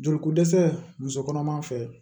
Joli ko dɛsɛ muso kɔnɔma fɛ